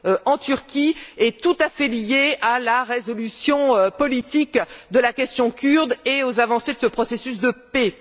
en Turquie sont tout à fait liées à la résolution politique de la question kurde et aux avancées de ce processus de paix.